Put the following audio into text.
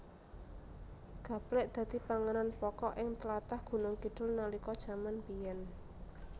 Gaplèk dadi panganan pokok ing tlatah Gunungkidul nalika jaman biyèn